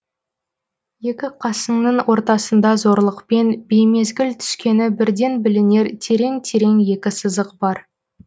екі қасының ортасында зорлықпен беймезгіл түскені бірден білінер терең терең екі сызық бар